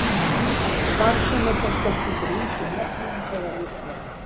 Starfsemi þess gekk undir ýmsum nöfnum þegar í upphafi.